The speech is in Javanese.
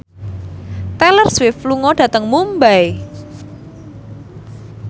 Taylor Swift lunga dhateng Mumbai